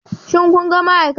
Shin kun ga ma'aikata?